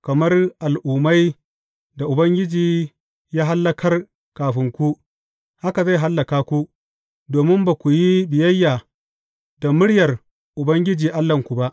Kamar al’ummai da Ubangiji ya hallakar kafin ku, haka zai hallaka ku, domin ba ku yi biyayya da muryar Ubangiji Allahnku ba.